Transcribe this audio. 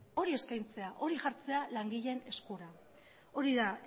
hori eskaintzea hori jartzea langileen eskuan hori da